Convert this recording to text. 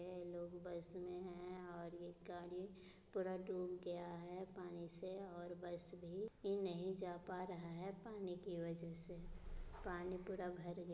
ये लोग बस में है और ये गाड़ी पूरा डूब गया है पानी से और बस भी नहीं जा पा रहा है पानी की वजह से पानी पूरा भर गया--